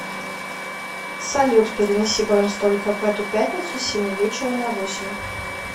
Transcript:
салют перенеси бронь столика в эту пятницу с семи вечера на восемь